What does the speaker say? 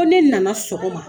Ko ne nana sɔgɔma.